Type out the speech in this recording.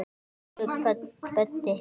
Elsku Böddi.